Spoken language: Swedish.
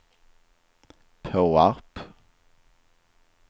Påarp